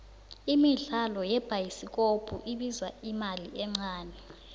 imidlalo yebhayisikopko ibiza imali encane